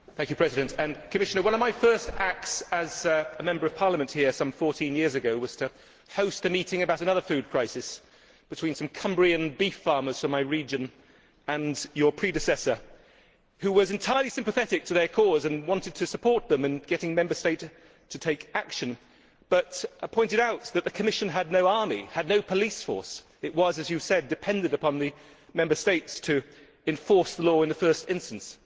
Madam President, one of my first acts as a Member of Parliament here some 14 years ago was to host a meeting about another food crisis, between some Cumbrian beef farmers from my region and your predecessor, who was entirely sympathetic to their cause and wanted to support them in getting Member States to take action, but pointed out that the Commission had no army, had no police force. It was, as you said, dependent upon the Member States to enforce the law in the first instance.